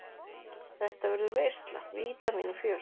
Þetta verður veisla, vítamín og fjör.